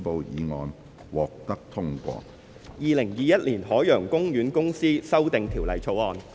《2021年海洋公園公司條例草案》。